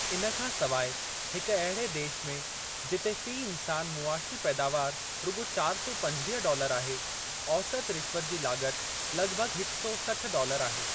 इन खां सवाइ, हिकु अहिड़े देश में जिते फ़ी इन्सान मुआशी पैदावारु रुॻो चार सौ पंजवीह डॉलर आहे, औसति रिश्वत जी लाग॒त लगि॒भगि॒ हिक सौ सठ डॉलर आहे।